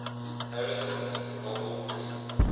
harrison's novel true